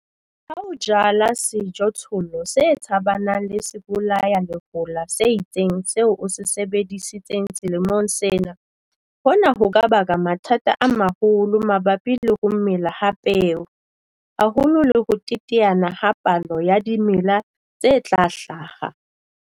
Ha o jala sejothollo se tshabanang le sebolayalehola se itseng seo o se sebedisitseng selemong sena, hona ho ka baka mathata a maholo mabapi le ho mela ha peo, haholo le ho teteana ha palo ya dimela tse tla hlaha.